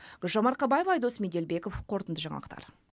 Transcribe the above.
гүлжан марқабаева айдос меделбеков қорытынды жаңалықтар